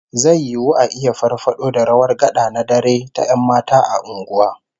Zai yiwu a iya farfado da rawar gad'a na dare ta 'yan mata a unguwa